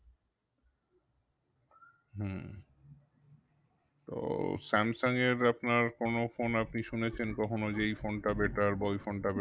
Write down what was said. হুম তো স্যামসাঙ এর আপনার কোনো phone আপনি শুনেছেন কখনো যে এই phone টা better বা ওই phone টা